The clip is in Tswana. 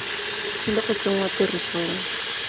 e tlile go tsenngwa tirisong